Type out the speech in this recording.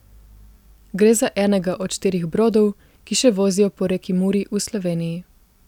Gre za enega od štirih brodov, ki še vozijo po reki Muri v Sloveniji.